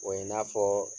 O ye i n'a fɔ